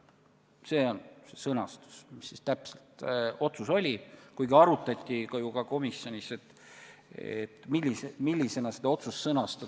" See on see sõnastus, mida selle otsuse puhul sai kasutatud, kuigi arutati ju ka komisjonis, kuidas seda otsust sõnastada.